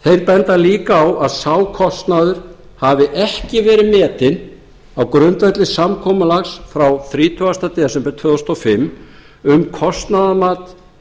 benda líka á að sá kostnaður hafi ekki verið metinn á grundvelli samkomulags frá þrítugasti desember tvö þúsund og fimm um kostnaðarmat